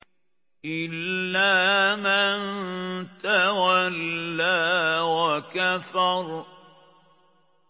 إِلَّا مَن تَوَلَّىٰ وَكَفَرَ